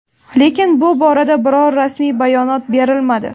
Lekin bu borada biror rasmiy bayonot berilmadi.